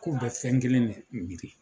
K'u bɛ fɛn kelen ne miiri